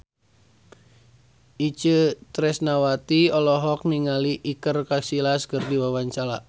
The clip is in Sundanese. Itje Tresnawati olohok ningali Iker Casillas keur diwawancara